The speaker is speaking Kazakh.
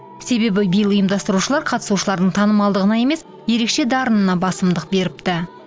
себебі биыл ұйымдастырушылар қатысушылардың танымалдығына емес ерекше дарынына басымдық беріпті